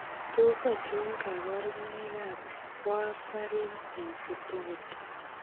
Tos achon kabarunaik ab Warfarin sensitivity ?